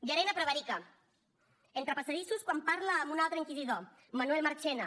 llarena prevarica entre passadissos quan parla amb un altre inquisidor manuel marchena